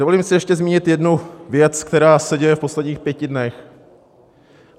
Dovolím si ještě zmínit jednu věc, která se děje v posledních pěti dnech.